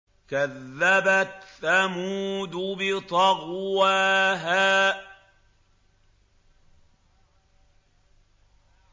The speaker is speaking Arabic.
كَذَّبَتْ ثَمُودُ بِطَغْوَاهَا